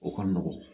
O ka nɔgɔn